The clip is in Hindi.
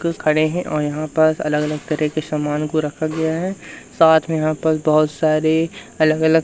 खड़े हैं और यहां पर अलग अलग तरह के समान को रखा गया है साथ में यहां पर बहुत सारे अलग अलग--